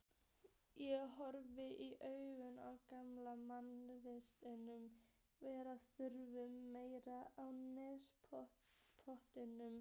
Ég horfist í augu við grannvaxinn, varaþunnan mann á nærbol.